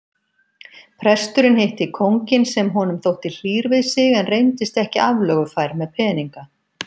Presturinn hitti kónginn sem honum þótti hlýr við sig en reyndist ekki aflögufær með peninga.